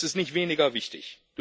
Das ist nicht weniger wichtig.